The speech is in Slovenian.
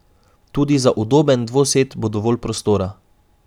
Tudi za udoben dvosed bo dovolj prostora.